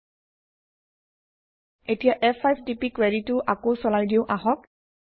ল্টপাউচেগ্ট এতিয়া ফ5 টিপি কুৱেৰিটো আকৌ চলাই দিওঁ আহক